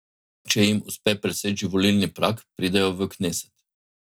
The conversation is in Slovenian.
Če jim uspe preseči volilni prag, pridejo v kneset.